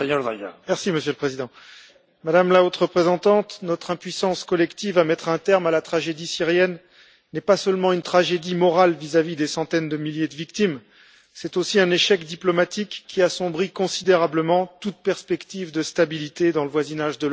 Monsieur le Président, Madame la Haute Représentante, notre impuissance collective à mettre un terme à la tragédie syrienne n'est pas seulement une tragédie morale vis à vis des centaines de milliers de victimes, c'est aussi un échec diplomatique qui assombrit considérablement toute perspective de stabilité dans le voisinage de l'Europe.